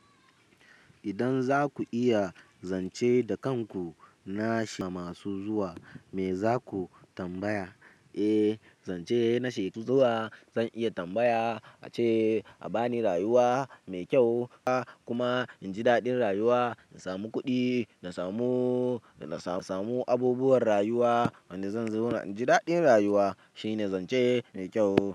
Idan za ku iya zance da kanku na shi masu zuwa, me za ku tambaya? Eh, zance na shaidu zuwa zan iya tambaya ace abani rayuwa mai kyau kuma inji daɗin rayuwa in samu kuɗi, in samu, na samu abubuwan rayuwa. Wanda zan zau na inji daɗin rayuwa shine zance mai kyau.